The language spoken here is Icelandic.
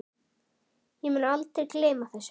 Ég mun aldrei gleyma þessu.